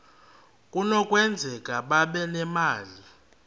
kunokwenzeka babe nemali